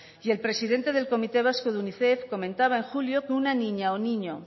y el presidente del comité vasco de unicef comentaba en julio que una niña o niño